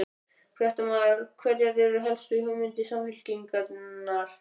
Fréttamaður: Hverjar eru helstu hugmyndir Samfylkingarinnar?